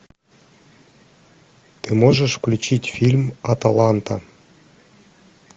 ты можешь включить фильм аталанта